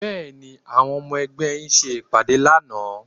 Bẹ́ẹ̀ni, àwọn ọmọ ẹgbẹ́ yín ṣe ìpàdé lánàá